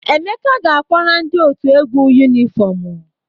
Emeka ga-akwara ndị otu egwu yunifọmụ.